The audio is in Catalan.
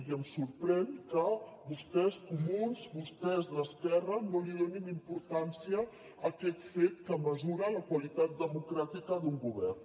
i em sorprèn que vostès comuns vostès d’esquerra no li donin importància a aquest fet que mesura la qualitat democràtica d’un govern